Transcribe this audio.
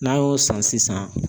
N'an y'o san sisan